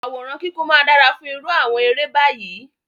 Àwòrán kíkún máa dára fún irú àwọn eré báyìí.